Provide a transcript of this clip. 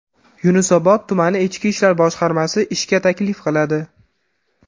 Yunusobod tumani Ichki ishlar boshqarmasi ishga taklif qiladi.